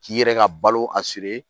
K'i yɛrɛ ka balo a siri